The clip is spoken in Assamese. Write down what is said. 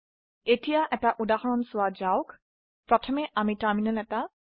এতিয়া এটা উদাহৰন চোৱা যাওক আমি এটা টাৰ্মিনাল খুলো